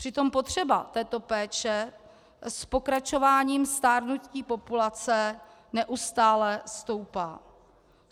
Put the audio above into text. Přitom potřeba této péče s pokračováním stárnutí populace neustále stoupá.